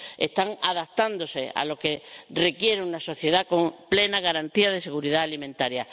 Están adaptándose a lo que requiere una sociedad con plena garantía de seguridad alimentaria.